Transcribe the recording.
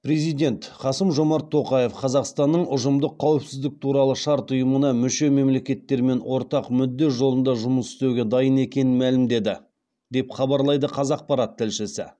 президент қасым жомарт тоқаев қазақстанның ұжымдық қауіпсіздік туралы шарт ұйымына мүше мемлекеттермен ортақ мүдде жолында жұмыс істеуге дайын екенін мәлімдеді деп хабарлайды қазақпарат тілшісі